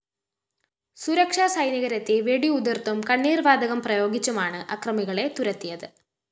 സുരക്ഷാ സൈനികരെത്തി വെടിയുതിര്‍ത്തും കണ്ണീര്‍ വാതകം പ്രയോഗിച്ചുമാണ്‌ അക്രമികളെ തുരത്തിയത്‌